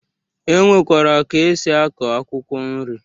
E nwere ka esi akọ akwụkwọ nri